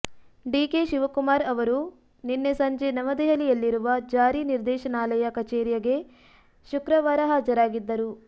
DK Shivakumar ಅವರು ನಿನ್ನೆ ಸಂಜೆ ನವದೆಹಲಿಯಲ್ಲಿರುವ ಜಾರಿ ನಿರ್ದೇಶನಾಲಯ ಕಚೇರಿಯಗೆ ಶುಕ್ರವಾರ ಹಾಜರಾಗಿದ್ದರು